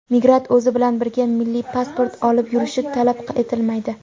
Migrant o‘zi bilan birga milliy pasport olib yurishi talab etilmaydi.